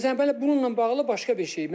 Məsələn, bununla bağlı başqa bir şey.